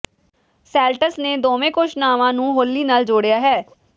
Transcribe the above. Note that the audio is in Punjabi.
ਸੈਲਟਸ ਨੇ ਦੋਵੇਂ ਘੋਸ਼ਣਾਵਾਂ ਨੂੰ ਹੋਲੀ ਨਾਲ ਜੋੜਿਆ ਹੈ